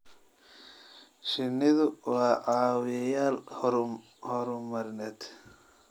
Shinnidu waa caawiyeyaal horumarineed.